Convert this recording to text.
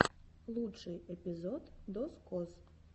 лучший эпизод дозкоз